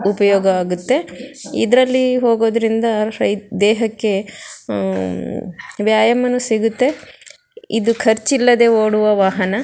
ಉಪಯೋಗ ಆಗುತ್ತೆ ಇದರಲ್ಲಿ ಹೋಗೋದ್ರಿಂದ ರೈ ದೇಹಕ್ಕೆ ಹ್ಮ್ಮ್ ವ್ಯಾಯಾಮನು ಸಿಗುತ್ತೆ ಇದು ಖರ್ಚ್ ಇಲ್ಲದೆ ಓಡುವ ವಾಹನ.